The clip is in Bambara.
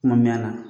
Kuma mɛn a la